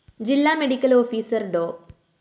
ജില്ലാ medical officer ഡോ